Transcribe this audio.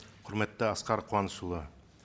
құрметті асқар қуанышұлы